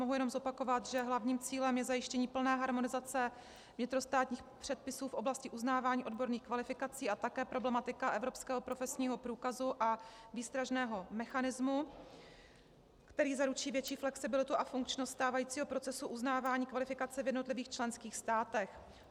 Mohu jenom zopakovat, že hlavním cílem je zajištění plné harmonizace vnitrostátních předpisů v oblasti uznávání odborných kvalifikací a také problematika evropského profesního průkazu a výstražného mechanismu, který zaručí větší flexibilitu a funkčnost stávajícího procesu uznávání kvalifikace v jednotlivých členských státech.